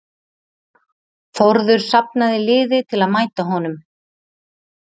Þórður safnaði liði til að mæta honum.